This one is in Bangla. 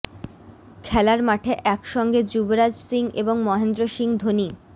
খেলার মাঠে একসঙ্গে যুবরাজ সিং এবং মহেন্দ্র সিং ধোনি